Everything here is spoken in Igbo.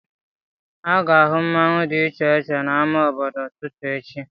A ga-ahụ mmanwu dị iche iche n'ámá obodo n'ututu echi